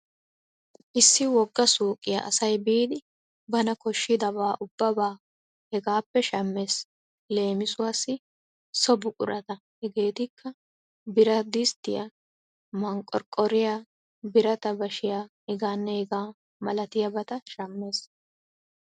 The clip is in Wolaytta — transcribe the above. Issi wogga suuqiyan asay biidi bana koshshida ubbabaa hegaappe shammees. Leemisuwassi so buqurata hegeetikka birata disttiya, maqorqqoriyanne birata bashiya hegaanne hegaa milatiyabata shammees.